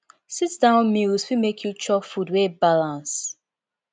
sit down meals fit make you chop food wey balance